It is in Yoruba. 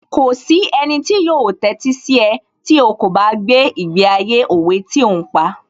Kò sí ẹnì tí yóò tẹ́sí sí ẹ tí ó kò bá gbé ìgbé ayé òwe tí ò ń pa